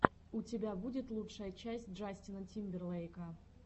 у тебя будет лучшая часть джастина тимберлейка